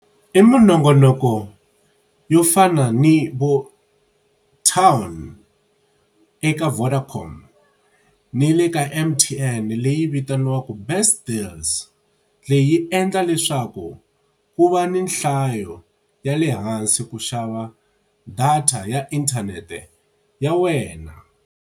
I minongonoko yo fana ni vo town eka Vodacom ni le ka M_T_N leyi vitaniwaka best deals, leyi endla leswaku ku va ni nhlayo ya le hansi ku xava data ya inthanete ya wena.